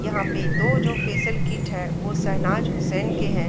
यहाँ पे दो जो फेसिअल किट है वो शहनाज़ हुसैन के हैं।